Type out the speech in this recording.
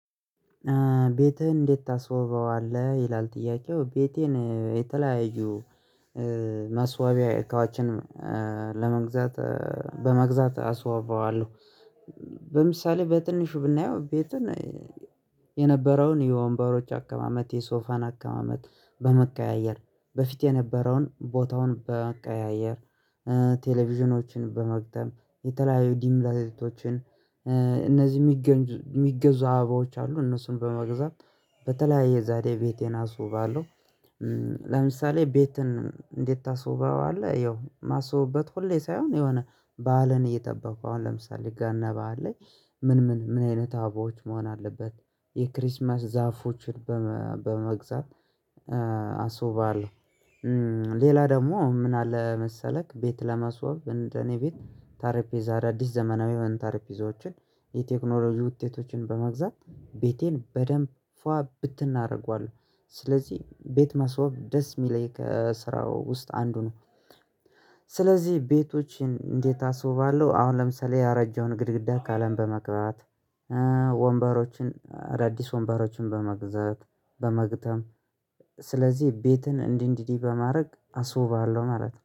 ቤትህን እንዴት ታስወበዋለህ? ይላል ጥያቄው ቤቴን የተለያዩ ማስዋቢያ እቃዎችንም ለመግዛት በመግዛት አስውበዋለሁ። በምሳሌ በትንሹ ብናየው ቤትን የነበረውን የወንበሮች አቀማመት የሶፋን አቀማመት በመቀያየር በፊት የነበረውን ቦታውን በመቀያየር ቴሌቪዥኖችን በመግጠም የተለያዩ ዲምላይቶችን እነዚህ የሚገዙ አበባዎች አሉ እነሱን በመግዛት በተለያየ ዛሬ ቤቴን አስውባለሁ። ለምሳሌ ቤትን እንዴት ታስውበዋለህ? ያው ማስውበት ሁሌ ሳይሆን የሆነ በዓልን እየጠበቁ አሁን ለምሳሌ ገና በዓል ላይ ምን ምን ምን አይነት አበባዎች መሆን አለበት? የክሪስማስ ዛፎችን በመግዛት አስውበዋለሁ። ሌላ ደግሞ ምን አለ? መሰለክ ቤት ለማስዋብ እንደኔ ቤት ጠረጴዛ አዳዲስ ዘመናዊ የሆነ ጠረጴዛዎችን የቴክኖሎጂ ውጤቶችን በመግዛት ቤቴን በደንብ ፏ ብትን አደርገዋለሁ። ስለዚህ ቤት ማስዋብ ደስ የሚለኝ ከስራው ውስጥ አንዱ ነው። ስለዚህ ቤቶችን እንዴት አስውባለሁ? አሁን ለምሳሌ ያረጀውን ግድግዳ ቀለም በመቅባት ወንበሮችን አዳዲስ ወንበሮችን በመግዛት በመግጠም ስለዚህ ቤትን እንዲህ እንዲህ በማድረግ አስውባለሁ ማለት ነው